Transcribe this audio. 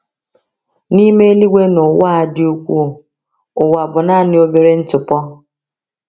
N’ime eluigwe na ụwa a dị ukwuu, ụwa bụ naanị obere ntụpọ.